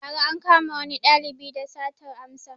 Ba ra ankama wani ɗalibi da satar amsa